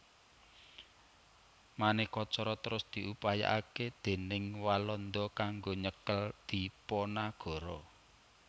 Manéka cara terus diupayakaké déning Walanda kanggo nyekel Dipanagara